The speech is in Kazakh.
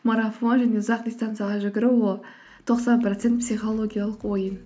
марафон және ұзақ дистанцияға жүгіру ол тоқсан процент психологиялық ойын